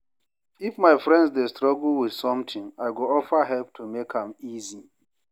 If my friend dey struggle with something, I go offer help to make am easy.